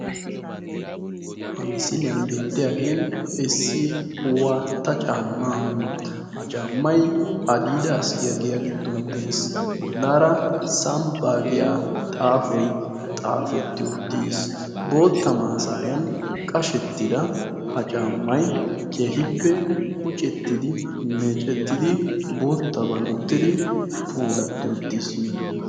ha misiliyan beetiyaagee issi waatta caamaa. ha caamay adidaas giyaaga giddon des. bolaara samppay xaafetti uttiis.